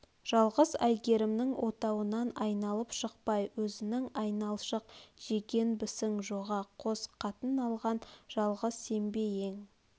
жалғыз әйгермнің отауынан айналып шықпай өзің айналшық жегенбісің жоға қос қатын алған жалғыз сен бе ең